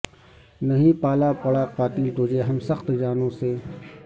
نہیں پالا پڑا قاتل تجھے ہم سخت جانوں سے